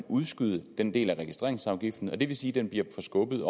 udskyde en del af registreringsafgiften og det vil sige at den bliver forskubbet